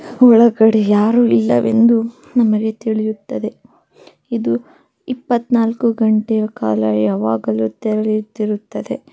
ಒಳಗಡೆ ಯಾರು ಇಲ್ಲವೆಂದು ನಮಗೆ ತಿಳಿಯುತ್ತದೆ ಇದು ಇಪ್ಪತ್ ನಾಲ್ಕು ಗಂಟೆಯ ಕಾಲ ಯಾವಾಗಲೂ ತೆರೆದಿರುತ್ತದೆ.